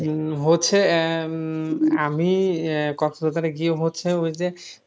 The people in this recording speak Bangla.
উম হচ্ছে আহ উম আমি আহ কক্সবাজারে গিয়ে হচ্ছে ওই যে